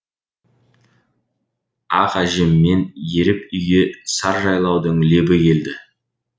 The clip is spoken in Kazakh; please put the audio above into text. ақ әжеммен еріп үйге сар жайлаудың лебі келді